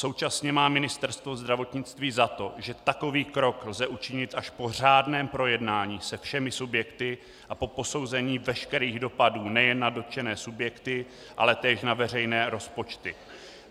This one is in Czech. Současně má Ministerstvo zdravotnictví za to, že takový krok lze učit až po řádném projednání se všemi subjekty a po posouzení veškerých dopadů nejen na dotčené subjekty, ale též na veřejné rozpočty.